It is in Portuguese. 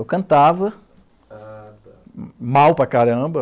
Eu cantava. Ah tá. Mal para caramba.